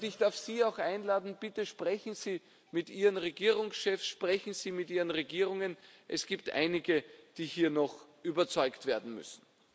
Und ich darf Sie auch einladen Bitte sprechen Sie mit Ihren Regierungschefs, sprechen Sie mit Ihren Regierungen, es gibt einige, die hier noch überzeugt werden müssen.